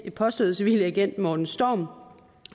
påståede civile agent morten storm